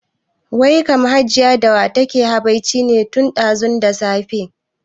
Wai kam Hajiya da wa take habaici ne tun ɗazu da safe?